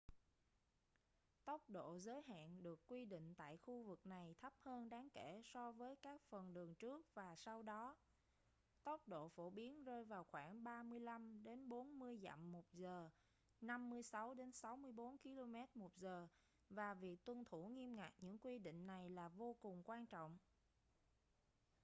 tốc độ giới hạn được quy định tại khu vực này thấp hơn đáng kể so với các phần đường trước và sau đó - tốc độ phổ biến rơi vào khoảng 35-40 dặm/h 56-64 km/h - và việc tuân thủ nghiêm ngặt những quy định này là vô cùng quan trọng